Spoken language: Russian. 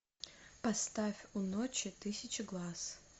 поставь у ночи тысяча глаз